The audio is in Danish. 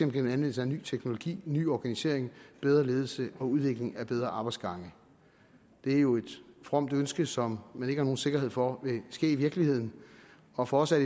gennem anvendelse af ny teknologi ny organisering bedre ledelse og udvikling af bedre arbejdsgange det er jo et fromt ønske som man ikke har nogen sikkerhed for vil ske i virkeligheden og for os er